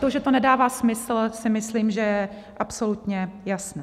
To, že to nedává smysl, si myslím, že je absolutně jasné.